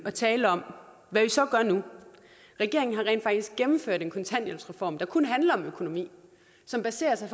at tale om hvad vi så gør nu regeringen har rent faktisk gennemført en kontanthjælpsreform der kun handler om økonomi og som baserer sig